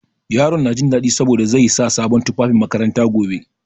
Yaron na jin daɗi saboda zai sa sabon tufafin makaranta gobe.